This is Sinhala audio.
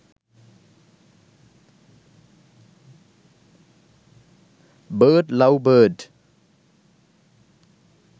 bird love bird